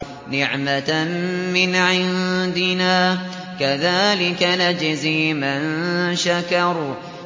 نِّعْمَةً مِّنْ عِندِنَا ۚ كَذَٰلِكَ نَجْزِي مَن شَكَرَ